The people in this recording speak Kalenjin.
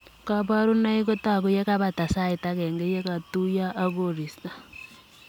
Kabarunoik kotagu yekepataa sait agenge yekatuiyoi ak koristoo.